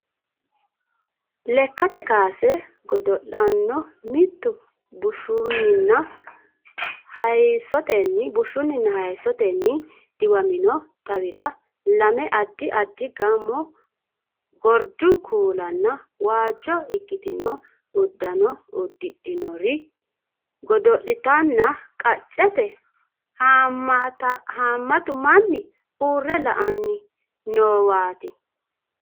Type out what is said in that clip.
Lekkate kaase godo'laano mittu bushshunninna haayissotenni diwamino xawira lame addi addi gaamo gordu kuulanna waajjo ikkitino uddano uddidhinori godo'litanna qaccete haammatu manni uurre la"anni noowaaati.